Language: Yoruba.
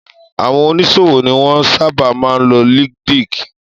Àwọn oní ṣòwò ni wọ́n sábà máa ń lo líńkdín